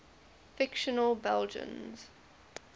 fictional belgians